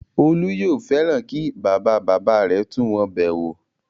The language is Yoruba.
Olú yóò fẹ́ràn kí bàba-bàbá rẹ̀ wá tún wọn bẹ̀ wò.